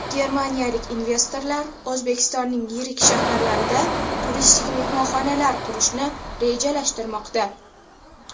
Germaniyalik investorlar O‘zbekistonning yirik shaharlarida turistik mehmonxonalar qurishni rejalashtirmoqda.